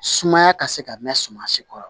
Sumaya ka se ka mɛn suma si kɔrɔ